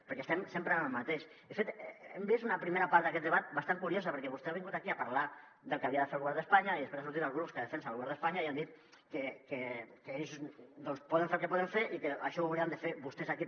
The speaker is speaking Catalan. perquè estem sempre en el mateix de fet hem vist una primera part d’aquest debat bastant curiosa perquè vostè ha vingut aquí a parlar del que havia de fer el govern d’espanya i després han sortit els grups que defensen el govern d’espanya i han dit que ells poden fer el que poden fer i que això ho haurien de fer vostès aquí